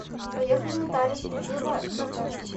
поехали нотариус кубиева хх